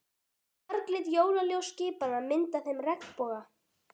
Marglit jólaljós skipanna mynda þeim regnboga.